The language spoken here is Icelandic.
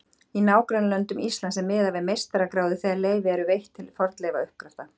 Í nágrannalöndum Íslands er miðað við meistaragráðu þegar leyfi eru veitt til fornleifauppgrafta.